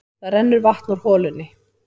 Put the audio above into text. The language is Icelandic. Það rennur vatn úr holunni.